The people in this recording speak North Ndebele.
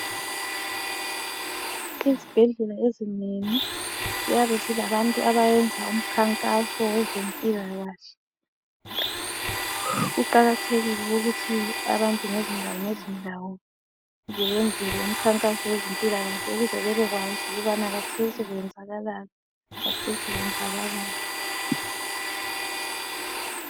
ezibhedlela ezinengi ziyabe zilabantu abayenza umkhankaso wezempilakahle kuqakathekile ukuthi abantu ngezindawo ngezindawo beyenzelwe umkhankaso wezempilakahle ukuze bebekwazi ukuthi khathesi kwenzakalani khathesi kwenzakalani